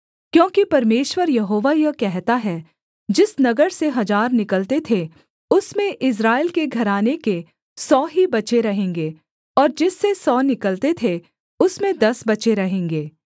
क्योंकि परमेश्वर यहोवा यह कहता है जिस नगर से हजार निकलते थे उसमें इस्राएल के घराने के सौ ही बचे रहेंगे और जिससे सौ निकलते थे उसमें दस बचे रहेंगे